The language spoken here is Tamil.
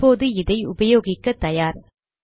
இப்போது இதை உபயோகிக்க தயார்